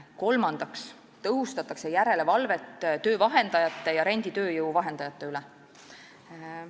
Kolmandaks tõhustatakse järelevalvet töövahendajate ja renditööjõu vahendajate üle.